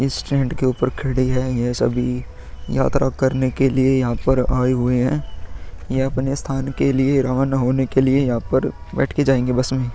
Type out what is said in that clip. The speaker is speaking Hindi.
स्टैंड के ऊपर खड़ी है । यह सभी यात्रा करने के लिए यहां पर आए हुए हैं । यह अपने स्थान के लिए रवाना होने के लिए यहां पर बैठ के जाएंगे बस में।